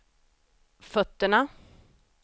fötterna